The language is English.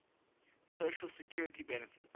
social security benefits